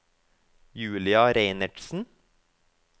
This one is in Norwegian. Julia Reinertsen